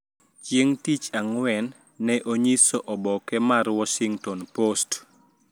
Chieng` tich Ang`wen ne onyiso oboke mar Washington Post